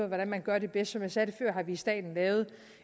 hvordan man gør det bedst som jeg sagde før har vi i staten lavet